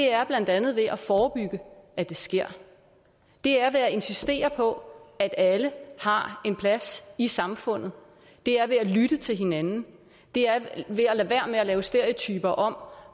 er blandt andet ved at forebygge at det sker det er ved at insistere på at alle har en plads i samfundet det er ved at lytte til hinanden det er ved at lade være med at lave stereotyper om